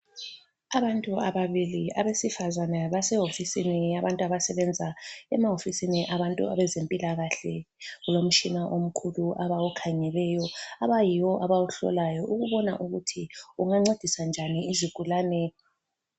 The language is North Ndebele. Abantu ababili abesifazana basehofisini yabantu abasebenza emahofisini abantu abezempilakahle. Kulomtshina omkhulu abawukhangeleyo abayiwo abawuhlolayo ukubona ukuthi ungancedisa njani izigulane.